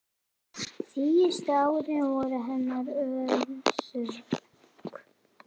Síðustu árin voru henni örðug.